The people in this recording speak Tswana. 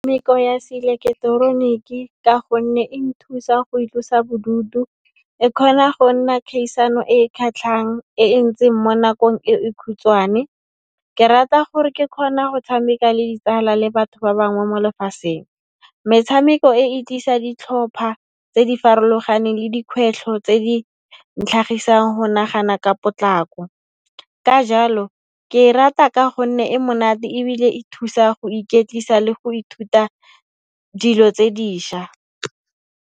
Ya se ileketeroniki ka gonne e nthusa go itlosa bodutu, e khona go nna khaisano e e khatlhang, e e ntseng mo nakong e e khutshwane. Ke rata gore ke khona go tshameka le ditsala le batho ba bangwe mo lefaseng. Metshameko e e tlisa ditlhopha tse di farologaneng le dikhwehlo tse di ntlhagisang go nagana ka potlako. Ka jalo, ke e rata ka gonne e monate ebile e thusa go iketlisa le go ithuta dilo tse diša.